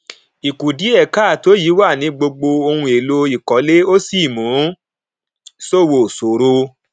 ìkùdíèkáàtó yìí wà ní gbogbo ohun èlò ìkólé ó sì mú ṣòwò ṣòro